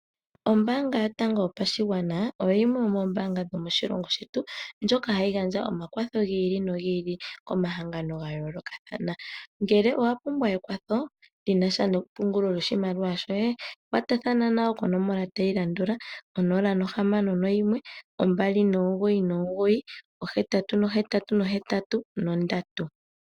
Ombaanga yotango yopashigwana oyo yimwe yomoombanga dho moshilongo shetu ndjoka hayi gandja omakwatho gi ili nogi ili komahangano ga yoolokathana. Ngele owa pumbwa ekwatho lyina sha nepungolo lyoshimaliwa shoye kwatathana nayo konomola tayi landula 0612998883.